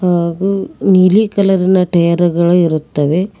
ಹಾಗು ನೀಲಿ ಕಲರಿನ ಟೈಯರು ಗಳು ಇರುತ್ತವೆ.